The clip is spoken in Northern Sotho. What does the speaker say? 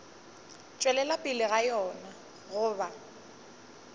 tšwelela pele ga yona goba